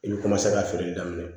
I bɛ ka feere daminɛ